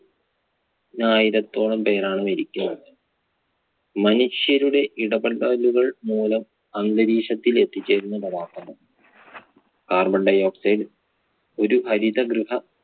നായിരത്തോളം പേരാണ് മരിക്കുന്നത്. മനുഷ്യരുടെ ഇടപെടലുകൾ മൂലം അന്തരീക്ഷത്തിൽ എത്തിച്ചേരുന്ന പദാർത്ഥങ്ങൾ carbon dioxide ഒരു ഹരിതഗ്രഹ